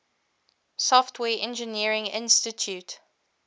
software engineering institute